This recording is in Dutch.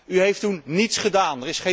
U heeft toen niets gedaan